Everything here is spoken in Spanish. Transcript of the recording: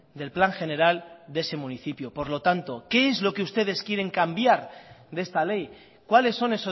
del plan general de ese municipio por lo tanto qué es lo que ustedes quieren cambiar de esta ley cuáles son